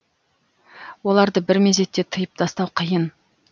оларды бір мезетте тиып тастау қиын